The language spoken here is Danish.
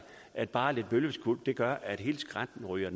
at bare lidt bølgeskvulp kan gøre at hele skrænten ryger